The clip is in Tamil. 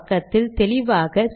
இங்கே வருவோம்